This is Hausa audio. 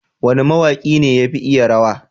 wane ma waki ne yafi iya rawa?